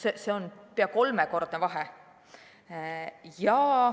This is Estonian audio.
See on pea kolmekordne vahe.